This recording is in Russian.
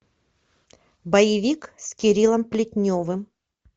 боевик с кириллом плетневым